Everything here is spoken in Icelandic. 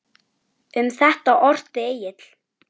Um þetta orti Egill